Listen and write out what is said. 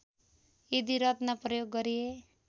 यदि रत्न प्रयोग गरिए